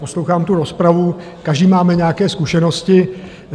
Poslouchám tu rozpravu, každý máme nějaké zkušenosti.